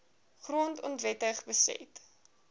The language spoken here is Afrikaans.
grond onwettig beset